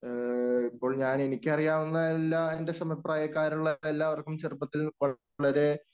ഇപ്പോൾ ഞാനെനിക്കറിയാവുന്ന എല്ലാ എൻ്റെ സമപ്രായക്കാരുള്ള എല്ലാവർക്കും ചെറുപ്പത്തിൽ വളരെ